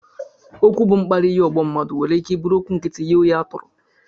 Okwu bụ mkparị nye ọgbọ mmadụ nwere ike bụrụ okwu nkịtị nye onye a tọrọ